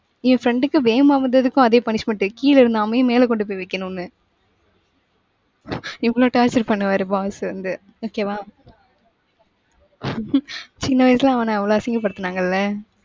இவன் friend க்கு, வேகமா வந்ததுக்கும் அதே punisment கீழே இருந்த ஆமைய மேல கொண்டு போய் வைக்கணுன்னு. இவ்வளவு torture பண்ணுவாரு boss வந்து okay வா. சின்ன வயசுல அவன அவ்ளோ அசிங்கப்படுத்துனாங்கல்ல.